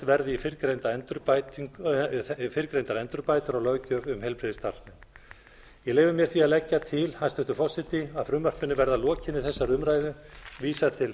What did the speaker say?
verði í fyrrgreindar endurbætur á löggjöf um heilbrigðisstarfsmenn ég leyfi mér því að leggja til hæstvirtur forseti að frumvarpinu verði að lokinni þessari umræðu vísað til